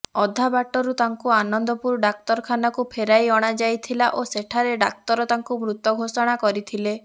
ଅଧା ବାଟରୁ ତାଙ୍କୁ ଆନନ୍ଦପୁର ଡାକ୍ତରଖାନାକୁ ଫେରାଇ ଅଣାଯାଇଥିଲା ଓ ସେଠାରେ ଡାକ୍ତର ତାଙ୍କୁ ମୃତ ଘୋଷଣା କରିଥିଲେ